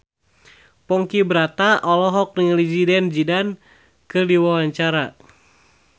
Ponky Brata olohok ningali Zidane Zidane keur diwawancara